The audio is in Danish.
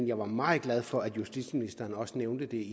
jeg var meget glad for at justitsministeren også nævnte det